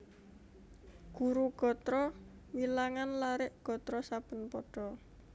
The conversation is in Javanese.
Guru gatra wilangan larik gatra saben pada